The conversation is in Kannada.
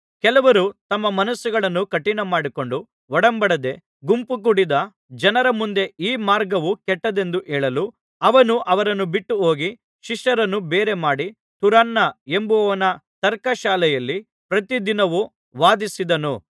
ಕೆಲವರು ತಮ್ಮ ಮನಸ್ಸುಗಳನ್ನು ಕಠಿಣಮಾಡಿಕೊಂಡು ಒಡಂಬಡದೆ ಗುಂಪುಕೂಡಿದ ಜನರ ಮುಂದೆ ಈ ಮಾರ್ಗವು ಕೆಟ್ಟದ್ದೆಂದು ಹೇಳಲು ಅವನು ಅವರನ್ನು ಬಿಟ್ಟುಹೋಗಿ ಶಿಷ್ಯರನ್ನು ಬೇರೆಮಾಡಿ ತುರನ್ನ ಎಂಬುವನ ತರ್ಕಶಾಲೆಯಲ್ಲಿ ಪ್ರತಿದಿನವೂ ವಾದಿಸಿದನು